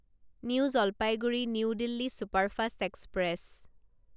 new Jalpaiguri new Delhi superfast express